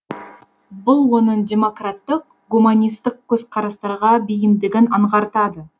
бұл оның демократтық гуманистік көзқарастарға бейімдігін аңғартады